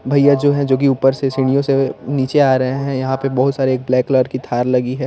भईया जो है जो की ऊपर से सिढ़ियों से अ निचे आ रहे हैं यहाँ पे बोहोत सार्रे एक ब्लैक क्लर की थार लगी है।